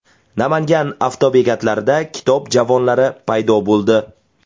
Namangan avtobekatlarida kitob javonlari paydo bo‘ldi.